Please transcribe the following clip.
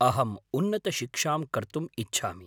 अहम् उन्नतशिक्षां कर्तुम् इच्छामि।